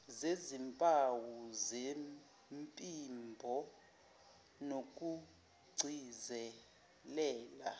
zezimpawu zephimbo nokugcizelela